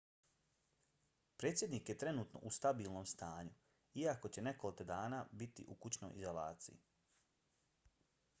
predsjednik je trenutno u stabilnom stanju iako će nekoliko dana biti u kućnoj izolaciji